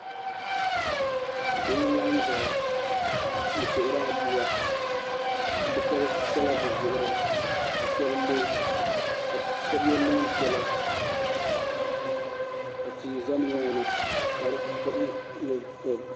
Bihi laɣim ʒɛya n suhuri aduwa bi shab chɛla bi zuɣuri ka shab lo ka shab yɛ neen piɛla ka tia ʒɛ nimaani